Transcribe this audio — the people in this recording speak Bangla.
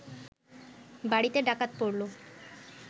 বাড়িতে ডাকাত পড়ল